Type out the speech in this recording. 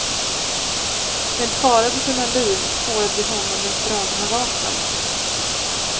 Med fara för sina liv spårade de honom med dragna vapen.